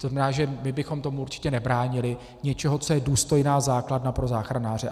To znamená, že my bychom tomu určitě nebránili, něčemu, co je důstojná základna pro záchranáře.